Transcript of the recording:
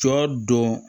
Sɔ don